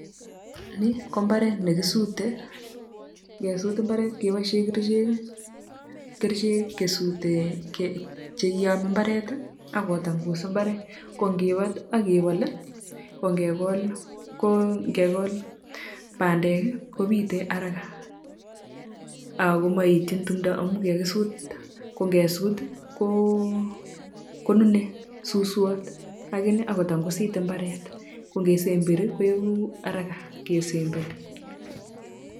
Ni ko mbaret ne kisute ngesuut mbaret kebaisheen kercheek ii kesutee chekiyame mbaret ii ako tangus mbaret ko kibaat ii agebol ko ngekol kol pandeek ii kobitee haraka, ago maetyiin tumdaa amuun kikakisuut ko ngesut ii ko nune suswaat lakini ako tangusiit mbaret, ko nge semberi koegu haraka ingesemberi .